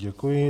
Děkuji.